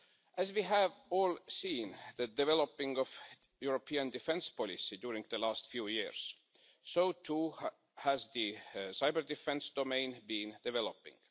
As we have all seen, with the development of the European defence policy over the last few years, so too has the cyber-defence domain been developing.